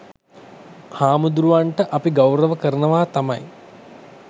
හාමුදුරුවරුන්ට අපි ගෞර්ව කරනවා තමයි